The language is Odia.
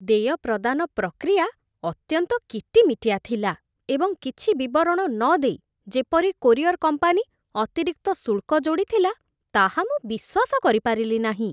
ଦେୟ ପ୍ରଦାନ ପ୍ରକ୍ରିୟା ଅତ୍ୟନ୍ତ କିଟିମିଟିଆ ଥିଲା, ଏବଂ କିଛି ବିବରଣ ନ ଦେଇ ଯେପରି କୋରିଅର କମ୍ପାନୀ ଅତିରିକ୍ତ ଶୁଳ୍କ ଯୋଡ଼ିଥିଲା, ତାହା ମୁଁ ବିଶ୍ୱାସ କରିପାରିଲି ନାହିଁ।